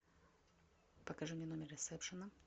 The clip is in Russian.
покажи мне номер ресепшена